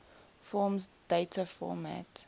forms data format